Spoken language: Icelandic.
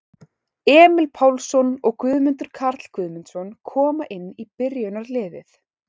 Emil Pálsson og Guðmundur Karl Guðmundsson koma inn í byrjunarliðið.